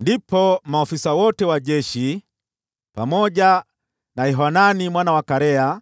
Ndipo maafisa wote wa jeshi, pamoja na Yohanani mwana wa Karea,